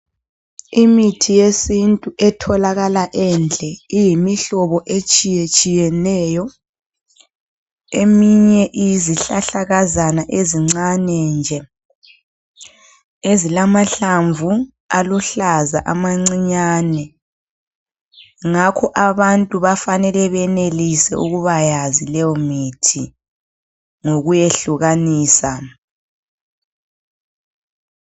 Imithi yesintu etholakala endle iyimihlobo etshiyetshiyeneyo. Eminye iyizihlahlakazana ezincane nje ezilamahlamvu aluhlaza, amancinyane. Ngakho abantu bafanele benelise ukuba yazi leyo mithi ngokuyehlukanisa.